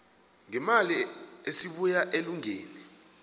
ngeemali esibuya elungeni